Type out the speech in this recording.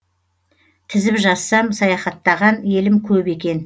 тізіп жазсам саяхаттаған елім көп екен